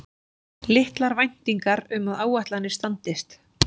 Litlar væntingar um að áætlanir standist